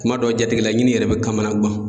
Kuma dɔw jatigila ɲini yɛrɛ bɛ kamanaguan.